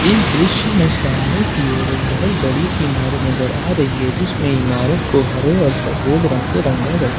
इस दृश्य में सामने की और एक बहोत बड़ी सही इमारत नजर आ रही है जिसमें इमारत को हरे और सफेद रंगों से रंगा गया--